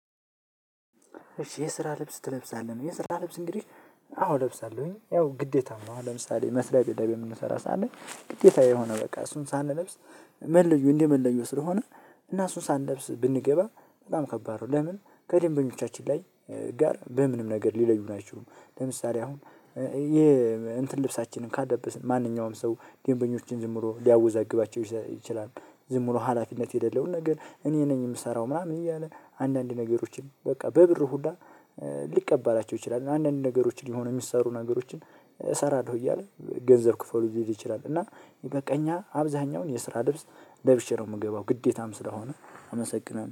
እሺ የስራ ልብስ ትለብሳለህ የስራ ልብስ እንግዲህ አዎ እለብሳለሁኝ ያው ግዴታ ነው። አሁን ለምሳሌ መስሪያ ቤት ላይ በምንሰራ ሰዓት ላይ ግዴታ የሆነ በቃ እሱን ሳንለብስ መለዮ እንደ መለዮ ስለሆነ እና እሱን ሳንለብስ ብንገባ በጣም ከባድ ነው። ለምን ከደንበኞቻችን ላይ ጋር በምንም ነገር ሊለዩን አይችሉም። ለምሳሌ አሁን የእንትን ልብሳችንን ካለበስን ማንኛውም ሰው ደንበኞችን ዝም ብሎ ሊያወዛግባቸው ይችላል። ዝም ብሎ ሀላፊነት የሌለውን ነገር እኔ ነኝ የምሰራው ምናምን እያለ አንዳንድ ነገሮችን በቃ በብር ሁሉ ሊቀባላቸው ይችላል። አንዳንድ ነገሮችን የሚሰሩ ነገሮችን እሰራለሁ እያለ ገንዘብ ክፈሉኝ ሊል ይችላል። እና በቃ እኛ አብዛኛውን የስራ ልብስ ለብሼ ነው የምገባው ግዴታም ስለሆነ አመሰግናለሁ